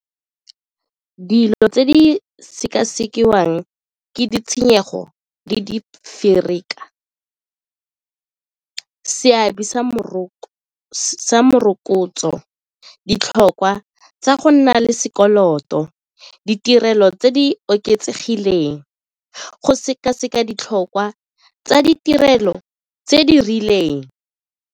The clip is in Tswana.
Dilo tse di sekasekiwang ke ditshenyego le di seabe sa morokotso, ditlhokwa tsa go nna le sekoloto, ditirelo tse di oketsegileng, go sekaseka ditlhokwa tsa ditirelo tse di rileng.